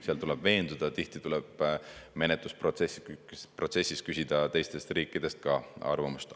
Seal tuleb veenduda, tihti tuleb menetlusprotsessis küsida ka teistest riikidest arvamust.